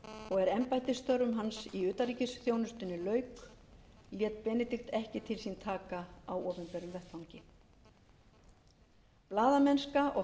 og er embættisstörfum hans í utanríkisþjónustunni lauk lét benedikt ekki til sín taka á opinberum vettvangi blaðamennska og